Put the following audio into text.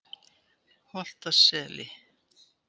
Holtaseli